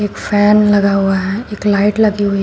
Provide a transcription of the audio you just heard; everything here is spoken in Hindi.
एक फैन लगा हुआ है एक लाइट लगी हुई--